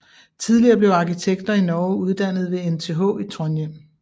Tidligere blev arkitekter i Norge uddannet ved NTH i Trondheim